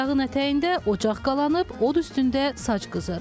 Dağın ətəyində ocaq qalanıb, od üstündə saç qızır.